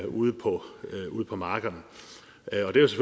ude på på markerne